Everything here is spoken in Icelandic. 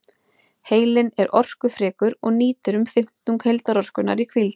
Heilinn er orkufrekur og nýtir um fimmtung heildarorkunnar í hvíld.